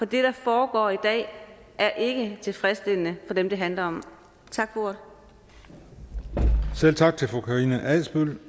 det der foregår i dag er ikke tilfredsstillende for dem det handler om tak for ordet selv tak til fru karina adsbøl